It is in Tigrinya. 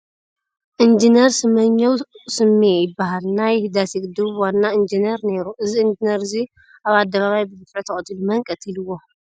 ኢጅነር ስመኘው ስሜ ይባሃል ናይ ህዳሴ ግድብ ዋና ኢጅነር ነይሩ ። እዚ ኢንጅነር እዙይ ኣብ ኣደባይ ብግፍዒ ተቀተሉ ? መን ቀቲልዎ ?